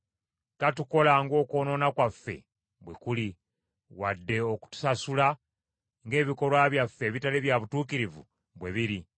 Tatukola ng’okwonoona kwaffe bwe kuli, wadde okutusasula ng’ebikolwa byaffe ebitali bya butuukirivu bwe biri.